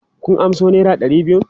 Kun amso naira ɗari biyun?